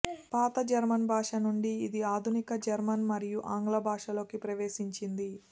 పాత జర్మన్ భాష నుంచి ఇది ఆధునిక జర్మన్ మరియు ఆంగ్ల భాషలోకి ప్రవేశించింది